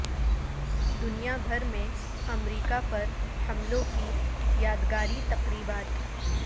دنیا بھر میں امریکہ پر حملوں کی یادگاری تقریبات